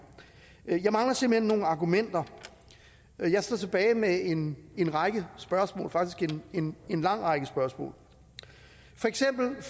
jeg mangler simpelt hen nogle argumenter jeg sidder tilbage med en en række spørgsmål faktisk en en lang række spørgsmål for eksempel